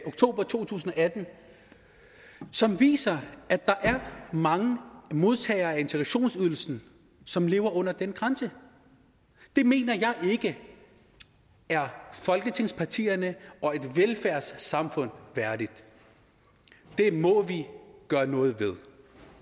oktober to tusind og atten som viser at der er mange modtagere af integrationsydelsen som lever under den grænse det mener jeg ikke er folketingspartierne og et velfærdssamfund værdigt det må vi gøre noget ved